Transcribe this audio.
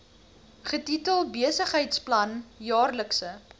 getitel besigheidsplan jaarlikse